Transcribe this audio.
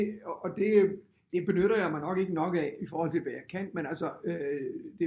Og det det benytter jeg mig nok ikke nok af i forhold til hvad jeg kan men altså det